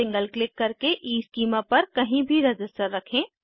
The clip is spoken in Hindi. सिंगल क्लिक करके ईस्कीमा पर कहीं भी रज़िस्टर रखें